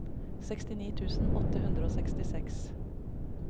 sekstini tusen åtte hundre og sekstiseks